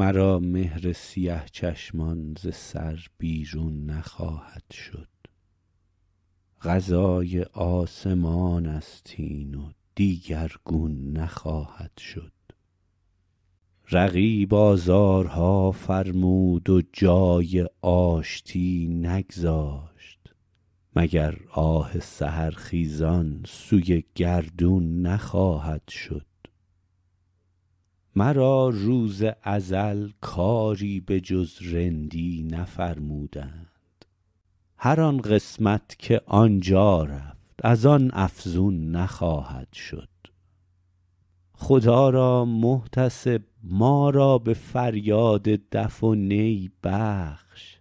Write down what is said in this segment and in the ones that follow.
مرا مهر سیه چشمان ز سر بیرون نخواهد شد قضای آسمان است این و دیگرگون نخواهد شد رقیب آزارها فرمود و جای آشتی نگذاشت مگر آه سحرخیزان سوی گردون نخواهد شد مرا روز ازل کاری به جز رندی نفرمودند هر آن قسمت که آن جا رفت از آن افزون نخواهد شد خدا را محتسب ما را به فریاد دف و نی بخش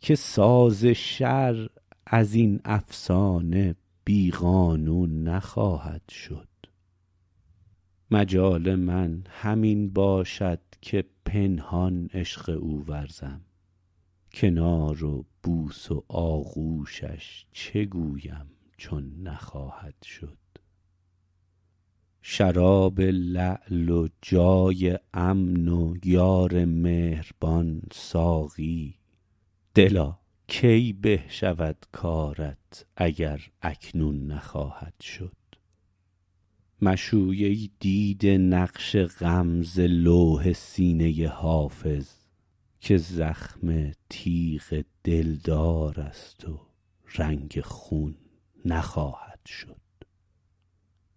که ساز شرع از این افسانه بی قانون نخواهد شد مجال من همین باشد که پنهان عشق او ورزم کنار و بوس و آغوشش چه گویم چون نخواهد شد شراب لعل و جای امن و یار مهربان ساقی دلا کی به شود کارت اگر اکنون نخواهد شد مشوی ای دیده نقش غم ز لوح سینه حافظ که زخم تیغ دلدار است و رنگ خون نخواهد شد